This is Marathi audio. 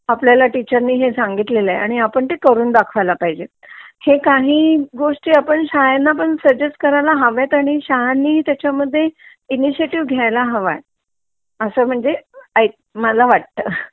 आपल्याला टीचर णे हे सांगितलेलं आहे आपण ते करून दखवायला पाहिजे हे काय ही गोष्ट आपण पण शाळेनी सुगगेस्ट करायला हव्यात आणि शाळांनी पण त्याचात इणीशीयटीव घ्यायला हवंय असा म्हणजे मला वाटत